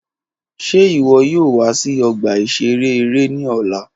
Ṣe iwọ yoo wa si ọgba-iṣere ere ni ọla?